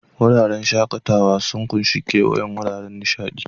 Wuraren shakatawa sun ƙunshi kewayon wuraren nishaɗi.